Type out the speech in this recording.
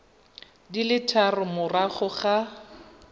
di le tharo morago ga